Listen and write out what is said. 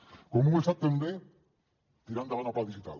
com ho ha estat també tirar endavant el pla digital